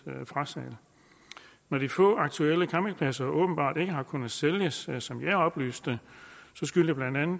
frasalg når de få aktuelle campingpladser åbenbart ikke har kunnet sælges som jeg er oplyst om skyldes